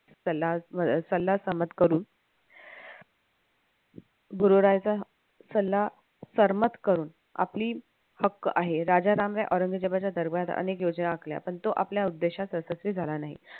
सल्ला सहमत करू गुरुरायचा सल्ला सहमत करून आपली हक्क आहे राजा रामने औरंगजेबाच्या दरबारात अनेक योजना आखल्या पण तो आपल्या उद्देशात यशस्वी झाला नाही